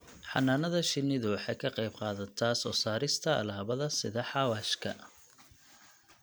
Xannaanada shinnidu waxay ka qayb qaadataa soo saarista alaabada sida xawaashka.